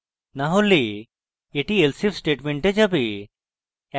না হলে এটি elsif স্টেটমেন্টে যাবে